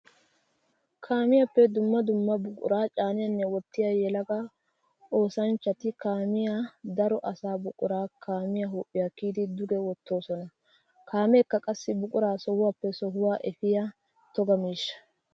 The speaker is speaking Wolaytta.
Kaamiyappe dumma dumma buqura caaniyanne wottiya yelaga oosanchchatti kaamiya daro asaa buqura kaamiya huuphiya kiyiddi duge wottosonna. Kaamekka qassi buqura sohuwappe sohuwa efiya toga miishsha.